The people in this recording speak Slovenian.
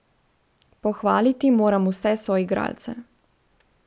Pohvaliti moram vse soigralce.